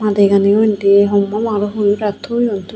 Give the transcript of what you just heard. madi gani o endi homma homma huri guraitoyoun tubey.